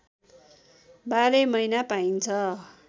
बाह्रै महिना पाइन्छ